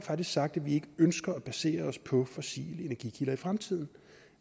sagt at vi ikke ønsker at basere os på fossile energikilder i fremtiden